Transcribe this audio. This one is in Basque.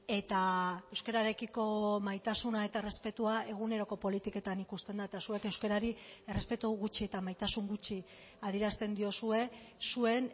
eta euskararekiko maitasuna eta errespetua eguneroko politiketan ikusten da eta zuek euskarari errespetu gutxi eta maitasun gutxi adierazten diozue zuen